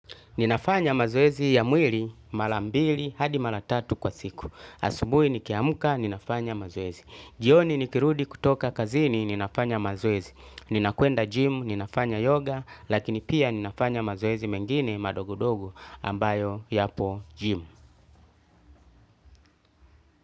Ninafanya mazoezi ya mwili, mara mbili, hadi mara tatu kwa siku. Asubuhi nikiamka, ninafanya mazoezi. Jioni nikirudi kutoka kazini, ninafanya mazoezi. Ninakwenda gym, ninafanya yoga, lakini pia ninafanya mazoezi mengine madogodogo ambayo yapo gym.